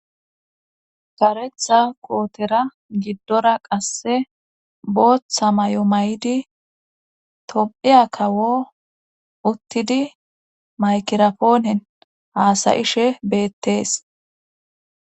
karetha kootera giddora qasse booththa may7o may7di tom7iya kawo uttidi maykirapoonen haasayishe beettees